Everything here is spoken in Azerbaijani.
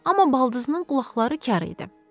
Amma baldızının qulaqları kar idi.